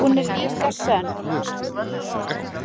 Hún er líka sönn.